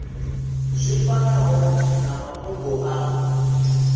zwi fanaho na mafhungo a